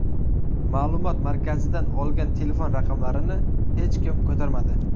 Ma’lumot markazidan olgan telefon raqamlarini hech kim ko‘tarmadi.